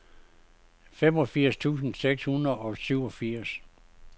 femogfirs tusind seks hundrede og syvogfirs